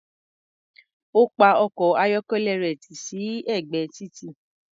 Ó pa ọkọ̀-ayọ́kẹ́lẹ́ rẹ̀ tì sí ẹ̀gbẹ́ títì.